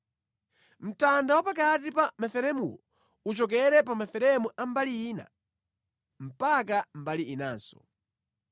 Mtanda wapakati pa maferemuwo uchokere pa maferemu a mbali ina mpaka mbali inanso.